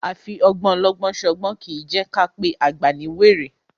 A fi ọgbọ́n ọlọ́gbọ́n ṣọgbọ́n kì í jẹ́ ká pé àgbà ní wèrè.